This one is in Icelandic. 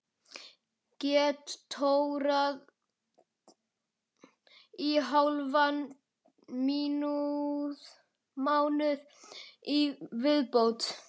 Get tórað í hálfan mánuð í viðbót.